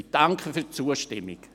Ich danke für die Zustimmung.